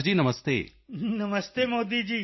ਗਿਆਮਰ ਜੀ ਗਿਆਮਰ ਜੀ ਨਮਸਤੇ ਮੋਦੀ ਜੀ